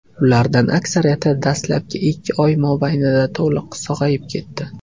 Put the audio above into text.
Ulardan aksariyati dastlabki ikki oy mobaynida to‘liq sog‘ayib ketdi.